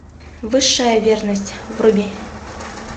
высшая верность вруби